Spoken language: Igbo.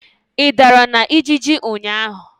Ị dara na ijiji ụnyaahụ?